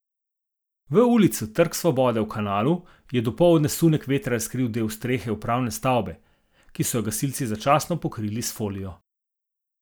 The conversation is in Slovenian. V ulici Trg svobode v Kanalu je dopoldne sunek vetra razkril del strehe upravne stavbe, ki so jo gasilci začasno pokrili s folijo.